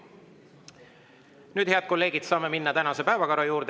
Nüüd, head kolleegid, saame minna tänase päevakorra juurde.